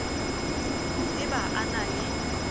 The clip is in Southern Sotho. e ba a na le